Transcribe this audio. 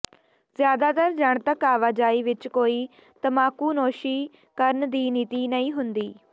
ਜ਼ਿਆਦਾਤਰ ਜਨਤਕ ਆਵਾਜਾਈ ਵਿੱਚ ਕੋਈ ਤਮਾਕੂਨੋਸ਼ੀ ਕਰਨ ਦੀ ਨੀਤੀ ਨਹੀਂ ਹੁੰਦੀ